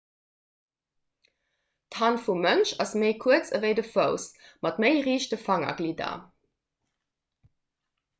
d'hand vum mënsch ass méi kuerz ewéi de fouss mat méi riichte fangerglidder